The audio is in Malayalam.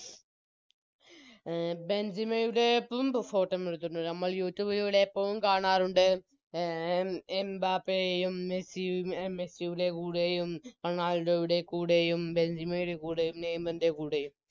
അഹ് ബെൻജിമയുടെ ഞമ്മൾ Youtube ലൂടെ എപ്പോഴും കാണാറുണ്ട് അഹ് എംബാപ്പയെയും മെസ്സിയു മെസ്സിയുടെ കൂടെയും റൊണാൾഡോയുടെ കൂടെയും ബെൻജിമയുടെ കൂടെയും നെയ്മറിൻറെ കൂടെയും